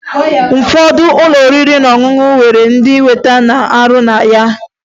Ụfọdụ ụlọ oriri na ọṅụṅụ nwere ndị weta na-arụ na ya